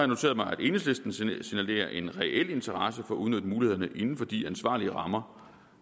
noteret mig at enhedslisten signalerer en reel interesse for at udnytte mulighederne inden for de ansvarlige rammer